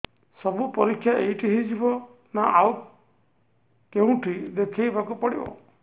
ସବୁ ପରୀକ୍ଷା ଏଇଠି ହେଇଯିବ ନା ଆଉ କଉଠି ଦେଖେଇ ବାକୁ ପଡ଼ିବ